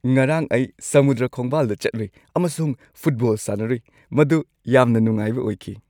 ꯉꯔꯥꯡ ꯑꯩ ꯁꯃꯨꯗ꯭ꯔ ꯈꯣꯡꯕꯥꯜꯗ ꯆꯠꯂꯨꯏ ꯑꯃꯁꯨꯡ ꯐꯨꯠꯕꯣꯜ ꯁꯥꯟꯅꯔꯨꯏ꯫ ꯃꯗꯨ ꯌꯥꯝꯅ ꯅꯨꯡꯉꯥꯏꯕ ꯑꯣꯏꯈꯤ꯫